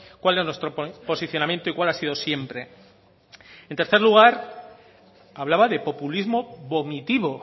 cuál es nuestro posicionamiento y cuál ha sido siempre en tercer lugar hablaba de populismo vomitivo